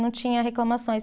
Não tinha reclamações.